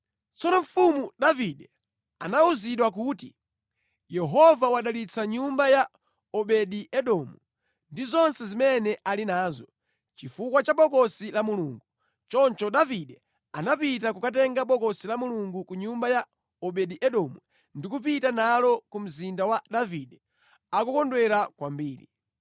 Tsono Mfumu Davide anawuzidwa kuti, “Yehova wadalitsa nyumba ya Obedi-Edomu ndi zonse zimene ali nazo, chifukwa cha Bokosi la Mulungu.” Choncho Davide anapita kukatenga Bokosi la Mulungu ku nyumba ya Obedi-Edomu ndi kupita nalo ku mzinda wa Davide akukondwera kwambiri.